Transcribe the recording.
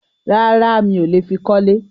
Rárá, mi ò le fi kọ́lé.